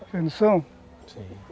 Vocês não são?